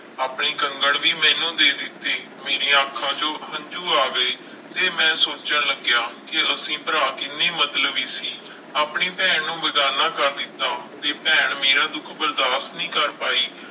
ਆਪਣੇ ਕੰਗਣ ਵੀ ਮੈਨੂੰ ਦੇ ਦਿੱਤੇ ਮੇਰੀਆਂ ਅੱਖਾਂ ਚੋਂ ਹੰਝੂ ਆ ਗਏ, ਤੇ ਮੈਂ ਸੋਚਣ ਲੱਗਿਆ ਕਿ ਅਸੀਂ ਭਰਾ ਕਿੰਨੇ ਮਤਲਬੀ ਸੀ, ਆਪਣੀ ਭੈਣ ਨੂੰ ਬੇਗ਼ਾਨਾ ਕਰ ਦਿੱਤਾ ਤੇ ਭੈਣ ਮੇਰਾ ਦੁੱਖ ਬਰਦਾਸ਼ਤ ਨਹੀਂ ਪਾਈ,